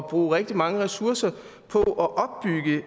bruge rigtig mange ressourcer på